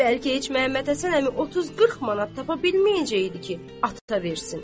Bəlkə heç Məhəmməd Həsən əmi 30-40 manat tapa bilməyəcəkdi ki, ata versin.